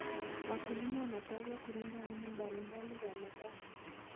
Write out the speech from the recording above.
Wakulima wanapaswa kulinda aina mbalimbali za mazao.